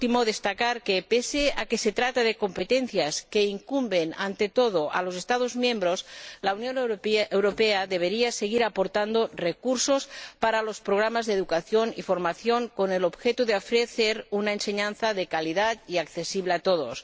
por último, quisiera destacar que, pese a que se trata de competencias que incumben ante todo a los Estados miembros, la Unión Europea debería seguir aportando recursos para los programas de educación y formación, con el objeto de ofrecer una enseñanza de calidad y accesible a todos.